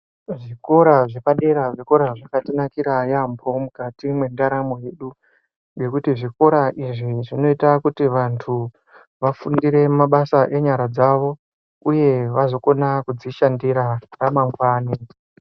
Zvikora zvepadera zvikora zvakatinakira yambo Mukati mendaramo yedu nekuti zvikora izvi zvinoita kuti vantu vafundire mabasa enyara dzawo uye vazokona kudzishandira ramangwani.